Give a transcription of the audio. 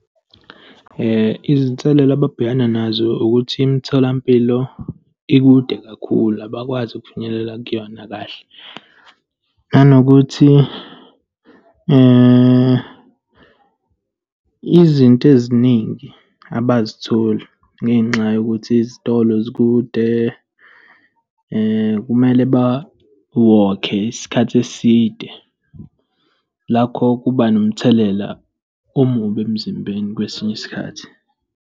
Izinselelo ababhekana nazo ukuthi imitholampilo ikude kakhulu, abakwazi ukufinyelela kuyona kahle, nanokuthi izinto eziningi abazitholi, ngenxa yokuthi izitolo zikude, kumele bawokhe isikhathi eside. Lakho kuba nomthelela omubi emzimbeni kwesinye isikhathi.